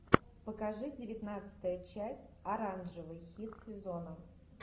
покажи девятнадцатая часть оранжевый хит сезона